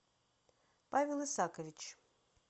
павел исакович